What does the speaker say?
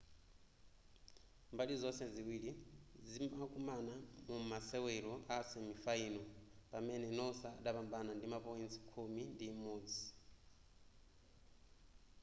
mbali zonse ziwiri zimakumana mu mumasewero a semifinal pamene noosa adapambana ndi ma point khumi ndi imodzi